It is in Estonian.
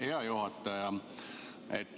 Hea juhataja!